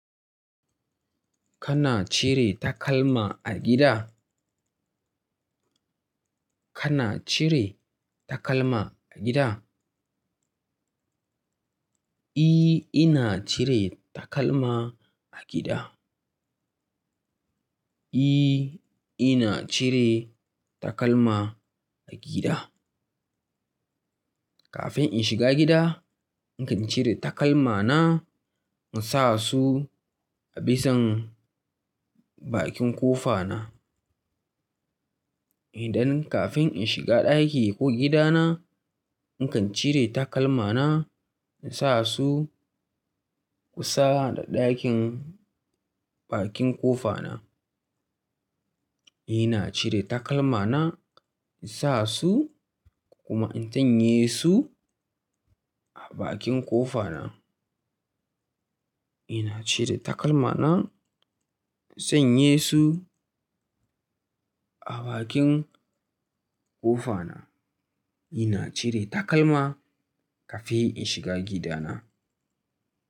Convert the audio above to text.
Kana cire takalma a gida? Kana cire takalma a gida? E, ina cire takalma a gida. E, ina cire takalma a gida. Kafin in shiga gida, nakan cire takalmana in sa su a bisan bakin ƙofana. Idan kafin in shiga ɗaki ko gidana, in kan cire takalmana in sa su kusa da ɗakin bakin ƙofana. Ina cire takalmana in sa su, kuma in tanye su a bakin ƙofana. Ina cire takalmana in sanye su a bakin ƙofana. Ina cire takalma kafin in shiga gidana.